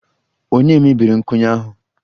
Ònye mebiri nkwụnye ahụ?